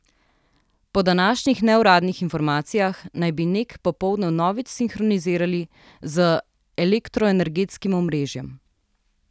Po današnjih neuradnih informacijah naj bi Nek popoldne vnovič sinhronizirali z elektroenergetskim omrežjem.